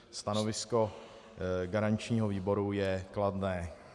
Stanovisko garančního výboru je kladné.